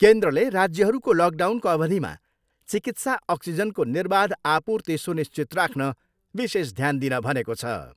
केन्द्रले राज्यहरूको लकडाउनको अवधिमा चिकित्सा अक्सिजनको निर्वाध आपूर्ति सुनिश्चित राख्न विशेष ध्यान दिन भनेको छ।